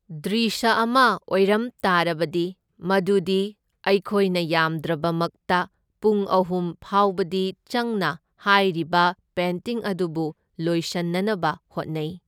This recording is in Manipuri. ꯗ꯭ꯔꯤꯁꯥ ꯑꯃ ꯑꯣꯔꯝꯇꯥꯔꯕꯗꯤ ꯃꯗꯨꯗꯤ ꯑꯩꯈꯣꯏꯅ ꯌꯥꯝꯗ꯭ꯔꯕꯃꯛꯇ ꯄꯨꯡ ꯑꯍꯨꯝ ꯐꯥꯎꯕꯗꯤ ꯆꯪꯅ ꯍꯥꯏꯔꯤꯕ ꯄꯦꯟꯇꯤꯡ ꯑꯗꯨꯕꯨ ꯂꯣꯏꯁꯟꯅꯅꯕ ꯍꯣꯠꯅꯩ꯫